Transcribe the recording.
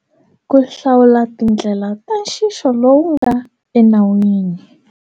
Ku hlawula tindlela ta nxixo lowu nga enawini.